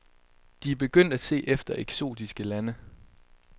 De er begyndt at se efter eksotiske lande.